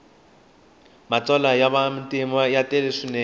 matsalwa ya matimu ya tele swinene